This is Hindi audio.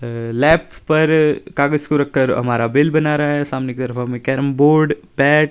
अ लैफ पर कागज को रख कर हमारा बिल बना रहा है सामने की तरफ हमे कैरम बोर्ड पैक --